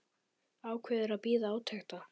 Ákveður að bíða átekta.